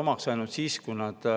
omaks ainult siis, kui ta